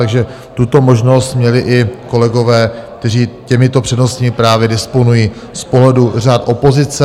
Takže tuto možnost měli i kolegové, kteří těmito přednostními právy disponují z pohledu řad opozice.